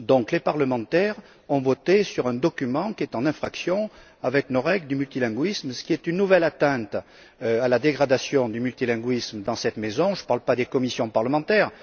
Les parlementaires ont donc voté sur un document qui est en infraction avec nos règles sur le multilinguisme, ce qui est une nouvelle atteinte au multilinguisme dans cette maison. Je ne parle pas des commissions parlementaires